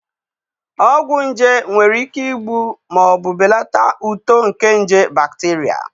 Ọgwụ nje nwere ike igbu ma ọ bụ belata uto nke nje bakterịa.